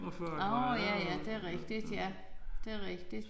Nåh ja ja det rigtigt ja det rigtigt